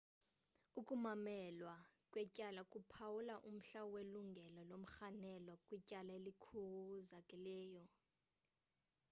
ukumamelwa kwetyala kuphawula umhla welungelo lomrhanelwa kwityala elikhawulezileyo